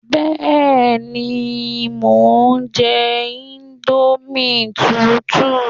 Bẹ́ẹ̀ni, mo ń jẹ íńdómì tútù